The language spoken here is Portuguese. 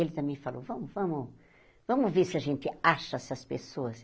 Ele também falou, vamos vamos vamos ver se a gente acha essas pessoas.